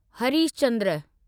Harish Chandra